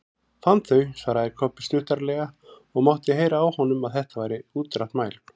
Fann þau, svaraði Kobbi stuttaralega og mátti heyra á honum að þetta væri útrætt mál.